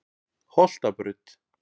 Holtabraut